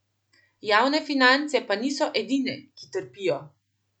Javne finance pa niso edine, ki trpijo.